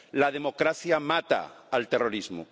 La democracia mata al terrorismo.